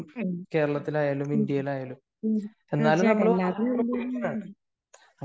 തീർച്ചയായിട്ടും എല്ലാത്തിലും അതിലൊരു